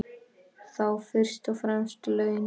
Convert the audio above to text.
Þá fyrst og fremst laun.